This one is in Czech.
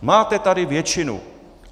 Máte tady většinu.